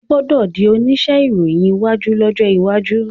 o gbódò dì onísé ìròyìn ìwádìí lójó waju.